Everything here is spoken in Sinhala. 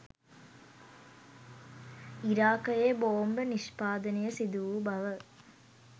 ඉරාකයේ බෝම්බ නිෂ්පාදනය සිදුවූ බව